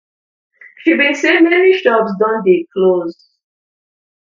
she bin say many shops don dey close